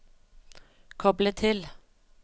koble til